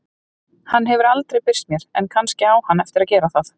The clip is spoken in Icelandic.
Hann hefur aldrei birst mér en kannski á hann eftir að gera það.